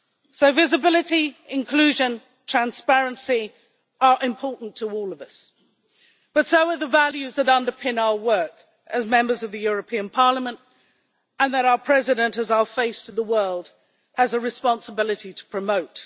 So visibility, inclusion, transparency are important to all of us, but so are the values that underpin our work as Members of the European Parliament and that our President, as our face to the world, has a responsibility to promote.